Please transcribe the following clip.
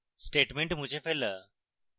statement মুছে ফেলা